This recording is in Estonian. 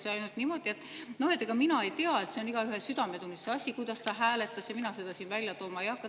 Ütles ainult niimoodi, et ega tema ei tea, see on igaühe südametunnistuse asi, kuidas ta hääletas, ja tema seda siin välja tooma ei hakka.